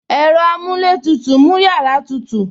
Ẹ̀rọ amuletutu mú yàrá tutù